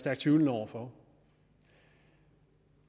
tvivlende over for